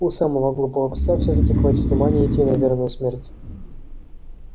у самого глупого пса все таки хватит ума не идти на верную смерть